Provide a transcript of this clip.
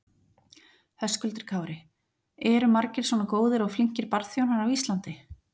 Höskuldur Kári: Eru margir svona góðir og flinkir barþjónar á Íslandi?